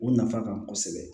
O nafa ka bon kosɛbɛ